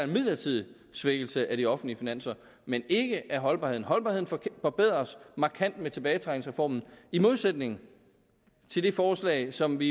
midlertidig svækkelse af de offentlige finanser men ikke af holdbarheden holdbarheden forbedres markant med tilbagetrækningsreformen i modsætning til det forslag som vi